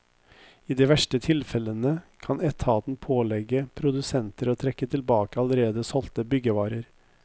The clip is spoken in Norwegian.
I de verste tilfellene kan etaten pålegge produsenter å trekke tilbake allerede solgte byggevarer.